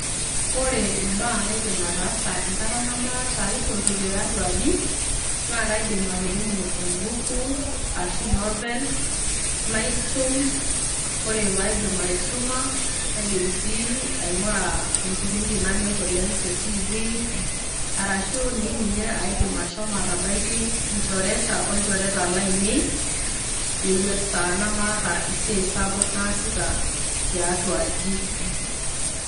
Ore imbaa naidim atasa enkata nemaata aitoki tiatua aji naa kaidim atudumu embuku ashu novel naisum, ore paidip aisuma naidim sii aingura enkipindi nanyor te tivii ,arshu dii ninye aidim ashomo atabaiki nchoreta, olchoreta lainei esaa nemaata esiai sapuk naasita tiatua aji.